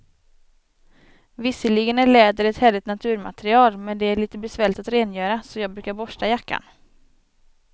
Visserligen är läder ett härligt naturmaterial, men det är lite besvärligt att rengöra, så jag brukar borsta jackan.